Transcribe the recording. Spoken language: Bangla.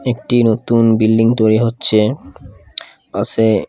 একটি নতুন বিল্ডিং তৈরি হচ্ছে--